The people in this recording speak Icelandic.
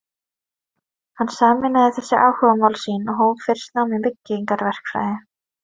Hann sameinaði þessi áhugamál sín og hóf fyrst nám í byggingarverkfræði.